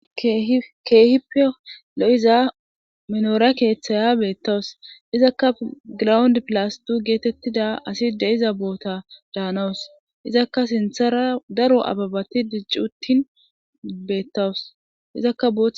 Ke'ippe lo'iza minoora keeththaya beettawus izakka grawundi pilas tuu geetettida asi de'iza boota daanawus izakka sinthara daro ababati dicci uttin beettawusizakka